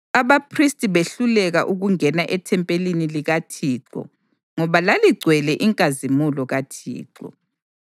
Abaphristi behluleka ukungena ethempelini likaThixo ngoba laligcwele inkazimulo kaThixo.